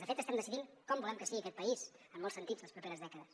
de fet estem decidint com volem que sigui aquest país en molts sentits les properes dècades